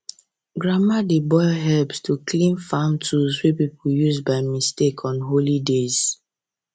grandma dey boil herbs to cleanse farm tools wey people use by mistake on holy days